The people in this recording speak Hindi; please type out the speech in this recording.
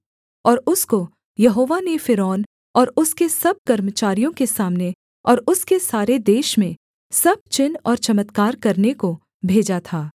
और उसको यहोवा ने फ़िरौन और उसके सब कर्मचारियों के सामने और उसके सारे देश में सब चिन्ह और चमत्कार करने को भेजा था